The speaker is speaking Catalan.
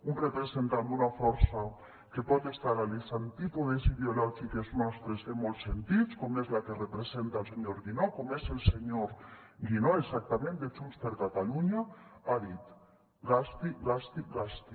un representant d’una força que pot estar a les antípodes ideològiques nostres en molts sentits com és la que representa el senyor guinó com és el senyor guinó exactament de junts per catalunya ha dit gasti gasti gasti